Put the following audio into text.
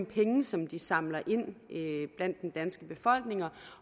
penge som de samler ind blandt den danske befolkning